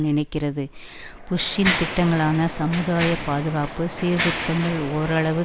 நினைக்கிறது புஷ்ஷின் திட்டங்களான சமுதாய பாதுகாப்பு சீர்திருத்தங்கள் ஓரளவு